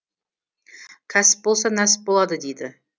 кәсіп болса нәсіп болады дейді